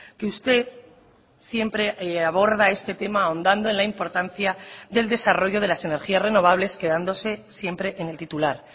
que usted siempre aborda este tema ahondando en la importancia del desarrollo de las energías renovables quedándose siempre en el titular